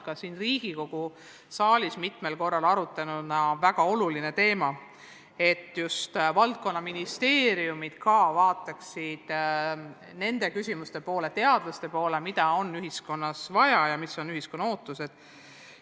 Riigikogu saalis on mitmel korral arutatud väga olulise teemana, et just valdkonnaministeeriumid ka vaataksid teaduse poole, mõeldes, mida on ühiskonnas vaja, mis on ühiskonna ootused.